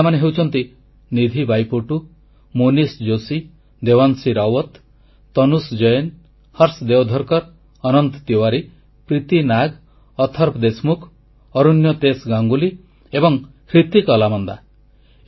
ସେହି ପିଲାମାନେ ହେଉଛନ୍ତି ନିଧି ବାଇପୋଟୁ ମୋନିଷ ଜୋଶୀ ଦେୱାଂଶୀ ରାୱତ୍ ତନୁଷ ଜୈନ ହର୍ଷ ଦେୱଧରକର ଅନନ୍ତ ତିୱାରୀ ପ୍ରୀତି ନାଗ ଅଥର୍ବ ଦେଶମୁଖ ଅରୋଣ୍ୟତେଷ ଗାଙ୍ଗୁଲି ଏବଂ ହି୍ରତିକ ଅଲାମନ୍ଦା